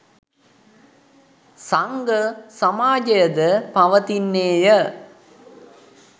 සංඝ සමාජය ද පවතින්නේ ය.